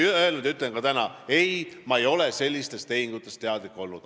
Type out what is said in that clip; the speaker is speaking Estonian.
Ma ütlen ka täna, et ei, ma ei ole sellistest tehingutest teadlik olnud.